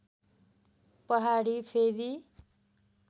पहाडी फेदी